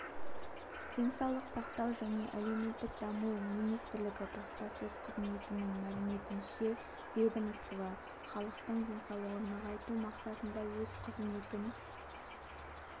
денсаулық сақтау және әлеуметтік даму министрлігі баспасөз қызметінің мәліметінше ведомство халықтың денсаулығын нығайту мақсатында өз қызметін